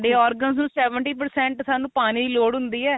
organs seventy percent ਸਾਨੂੰ ਪਾਣੀ ਲੋੜ ਹੁੰਦੀ ਏ